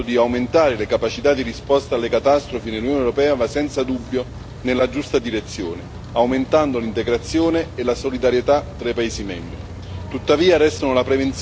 La creazione di un sistema in grado di aumentare le capacità di risposta alle catastrofi nell'Unione europea va senza dubbio nella giusta direzione, aumentando l'integrazione e la solidarietà tra i paesi membri.